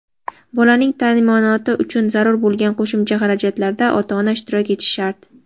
bolaning taʼminoti uchun zarur bo‘lgan qo‘shimcha xarajatlarda ota-ona ishtirok etishi shart.